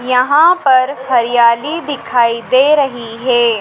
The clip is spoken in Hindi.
यहां पर हरियाली दिखाई दे रही है।